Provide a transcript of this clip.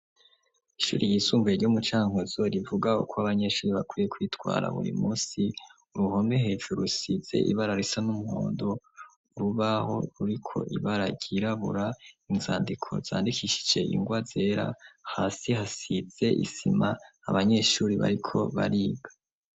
Ishuri ryisumbuye ryo mucankuzo rivuga uko abanyeshuri bakwiye kwitwara buri munsi uruhome hejuru rusize ibara risa n'umuhondo urubaho ruriko ibara ryirabura, inzandiko zandikishije ingwa zera hasi hasize isima abanyeshuri bariko bariga.